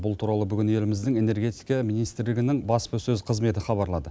бұл туралы бүгін еліміздің энергетика министрлігінің баспасөз қызметі хабарлады